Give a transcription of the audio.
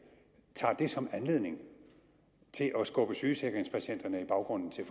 tager det som anledning til at at skubbe sygesikringspatienterne i baggrunden til